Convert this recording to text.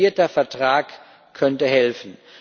Ein detaillierter Vertrag könnte helfen.